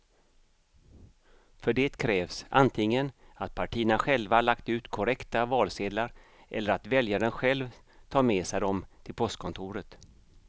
För det krävs antingen att partierna själva lagt ut korrekta valsedlar eller att väljaren själv tar med sig dem till postkontoret.